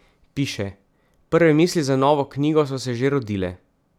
Piše: "Prve misli za novo knjigo so se že rodile.